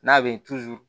N'a bɛ